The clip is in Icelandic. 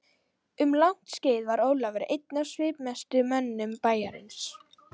Um langt skeið var Ólafur einn af svipmestu mönnum bæjarins.